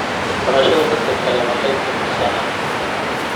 Barashada dadka kale waxay kordhisaa aqoonta.